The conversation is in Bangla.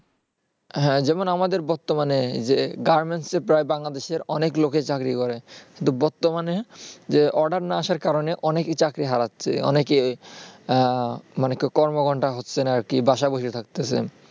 হ্যাঁ যেমন আমাদের বর্তমানে যে garments -এ প্রায় বাংলাদেশে অনেক লোকে চাকরি করে কিন্তু বর্তমানে যে order না আসার কারণে অনেকেই চাকরি হারাচ্ছে অনেকে না বাসায় বসে থাকছে